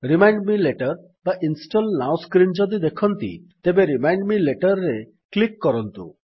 remind me later ବା install now screen ଯଦି ଦେଖନ୍ତି ତେବେ ରିମାଇଣ୍ଡ ମେ laterରେ କ୍ଲିକ୍ କରନ୍ତୁ